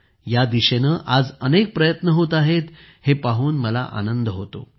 या दिशेने आज अनेक प्रयत्न होत आहेत हे पाहून मला आनंद होतो